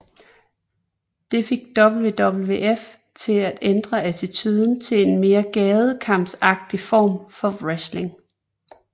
Det fik WWF til at ændre attitude til en mere gadekampsagtig form for wrestling